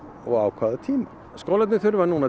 og á hvaða tíma skólarnir þurfa núna